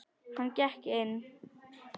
Hann gekk inn.